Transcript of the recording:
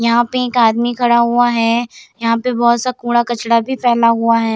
यहाँ पे एक आदमी खड़ा हुआ है यहाँ पे बहुत सा कूड़ा-कचरा भी फैला हुआ है।